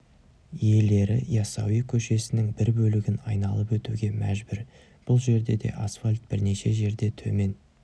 иелері яссауи көшесінің бір бөлігін айналып өтуге мәжбүр бұл жерде де асфальт бірнеше жерде төмен